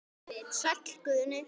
Sæll Guðni.